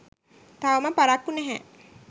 තවම පරක්කු නැහැ.